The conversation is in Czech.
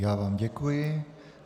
Já vám děkuji.